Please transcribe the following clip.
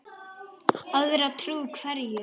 Að vera trú hverju?